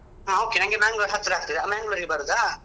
ಹಾ okay ನಂಗೆ Mangalore ಹತ್ರಾಗ್ತದೆ Mangalore ಗೆ ಬರುದಾ?